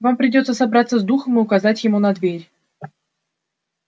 вам придётся собраться с духом и указать ему на дверь